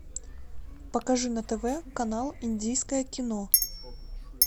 покажи на тв канал индийское кино